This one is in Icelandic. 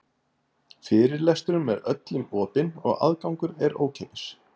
Fyrirlesturinn er öllum opinn og aðgangur er ókeypis.